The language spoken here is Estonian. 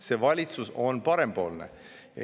See valitsus on parempoolne.